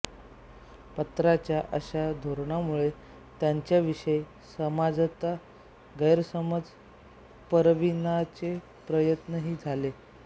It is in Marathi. पत्राच्या अशा धोरणामुळे त्यांच्याविषयी समाजात गैरसमज पसरविण्याचे प्रयत्नही झाले